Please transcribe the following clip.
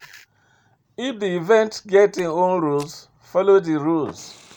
If di event get im own rules, follow di rules